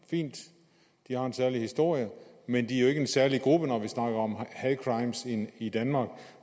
fint de har en særlig historie men de er jo ikke en særlig gruppe når vi snakker om hate crimes i i danmark